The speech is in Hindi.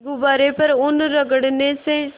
गुब्बारे पर ऊन रगड़ने से